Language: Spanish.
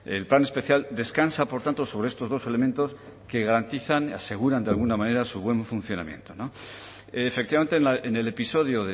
el plan especial descansa por tanto sobre estos dos elementos que garantizan aseguran de alguna manera su buen funcionamiento efectivamente en el episodio